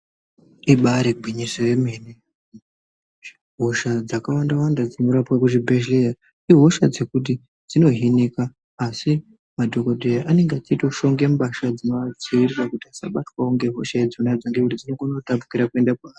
Ibairi gwinyiso ye mene hosha dzaka wanda wanda dzino rapwa ku zvibhedhleya ihosha dzekuti dzino hinika asi madhokodheya anenge achito shonge mbatya dzinova dzivirira kuti asa batwawo nge hosha idzo ngekuti dzinokona kutapukira kuenda paari.